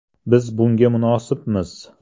Biz bunga munosibmiz.